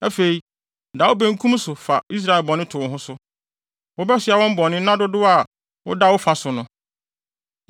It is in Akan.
“Afei da wo benkum so na fa Israel bɔne to wo ho so. Wobɛsoa wɔn bɔne nna dodow a wode da wo fa so no.